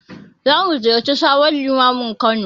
Za mu ziyarci sabon Limamin Kano.